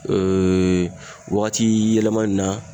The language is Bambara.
Ee wagati yɛlɛma in na